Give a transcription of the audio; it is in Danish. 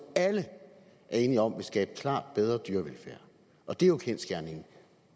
alle er enige om vil skabe klart bedre dyrevelfærd og det er jo kendsgerningen